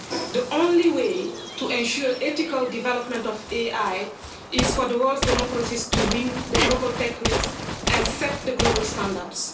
The only way to ensure ethical development of AI is for the world's democracies to win the global tech race and set the global standards.